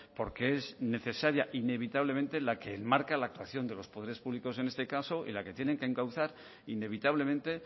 porque es necesaria inevitablemente la que enmarca la actuación de los poderes públicos en este caso y la que tienen que encauzar inevitablemente